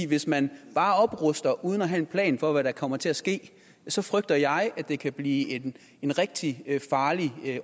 hvis man bare opruster uden at have en plan for hvad der kommer til at ske så frygter jeg at det kan blive en rigtig farlig